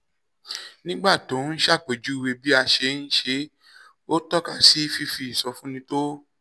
nígbà tó ń ṣàpèjúwe bí a ṣe ń ṣe é ó tọ́ka sí fífi ìsọfúnni tó